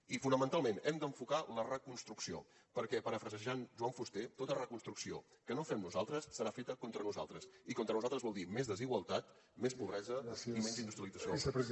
i fonamentalment hem d’enfocar la reconstrucció perquè parafrasejant joan fuster tota reconstrucció que no fem nosaltres serà feta contra nosaltres i contra nosaltres vol dir més desigualtat més pobresa i menys industrialització del país